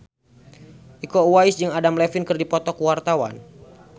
Iko Uwais jeung Adam Levine keur dipoto ku wartawan